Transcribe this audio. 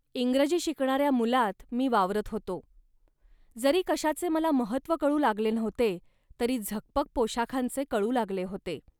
इंग्रजी शिकणाऱ्या मुलांत मी वावरत होतो. जरी कशाचे मला महत्त्व कळू लागले नव्हते, तरी झकपक पोशाखांचे कळू लागले होते